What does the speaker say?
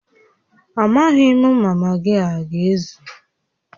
Amaghị m ma magị a aga-ezu